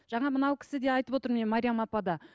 жаңа мынау кісі де айтып отыр міне мәриям апа да